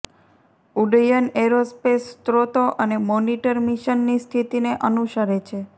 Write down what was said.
ઉડ્ડયન એરોસ્પેસ સ્રોતો અને મોનિટર મિશનની સ્થિતિને અનુસરે છે